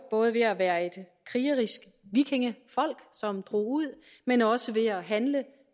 både at være et krigerisk vikingefolk som tog ud men også ved at handle